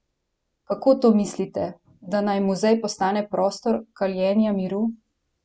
Kako to mislite, da naj muzej postane prostor kaljenja miru?